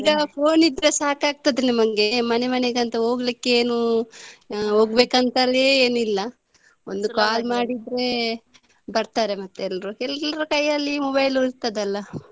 ಈಗ phone ಅಲ್ಲಿ ಹೇಳಿದ್ರೆ ಸಾಕಾಗ್ತದೆ ನಮಗೆ ಮನೆ ಮನೆಗೆ ಅಂತ ಹೋಗ್ಲಿಕ್ಕೆ ಏನು ಹೋಗ್ಬೇಕಂತಲೇ ಏನಿಲ್ಲ ಒಂದು call ಮಾಡಿದ್ರೆ ಬರ್ತಾರೆ ಮತ್ತೆ ಎಲ್ಲರು ಎಲ್ಲರ ಕೈಯಲ್ಲಿ mobile ಇರ್ತದಲ್ಲ.